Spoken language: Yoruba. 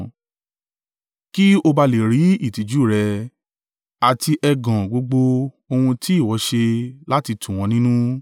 kí ó bá à le rú ìtìjú rẹ, àti ẹ̀gàn gbogbo ohun tí ìwọ ṣe láti tù wọ́n nínú.